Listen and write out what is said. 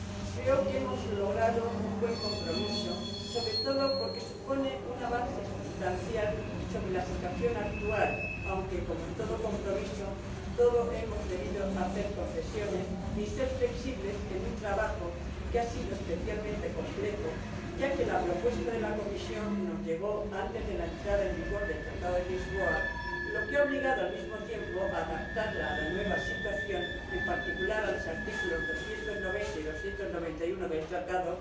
Creo que hemos logrado un buen compromiso, sobre todo, porque supone un avance sustancial con respecto a la situación actual, aunque, como en todo compromiso, todos hemos debido hacer concesiones y ser flexibles en un trabajo que ha sido especialmente complejo, ya que la propuesta de la Comisión nos llegó antes de la entrada en vigor del Tratado de Lisboa, lo que ha obligado, al mismo tiempo, a adaptarla a la nueva situación, en particular a los artículos 290 y 291 del Tratado,